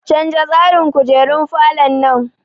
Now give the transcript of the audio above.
Canza tsarin kujerun falon nan!